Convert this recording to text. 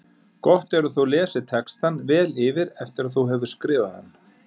Gott er að þú lesir textann vel yfir eftir að þú hefur skrifað hann.